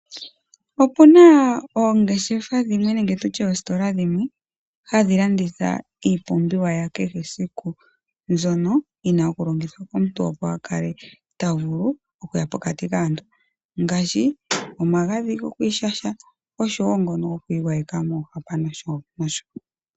Opuna oongeshefa dhimwe nenge tutye oositola dhimwe hadhi landitha iipumbiwa ya kehe esiku mbyono yina okulongithwa komuntu opo a lale ta vulu okuya pokatui kaantu ngaashi omagadhi gokwiishasha osho wo ngongo gokwi gwayeka moohwapa nosho nosho.